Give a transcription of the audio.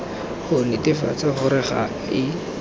go netefatsa gore ga e